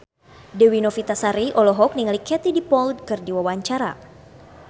Dewi Novitasari olohok ningali Katie Dippold keur diwawancara